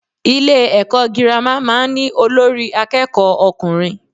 Ilé èkó girama máa n ní Olórí akéèkó okùnrin